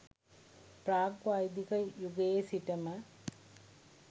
ප්‍රාග් වෛදික යුගයේ සිටම